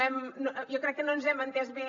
jo crec que no ens hem entès bé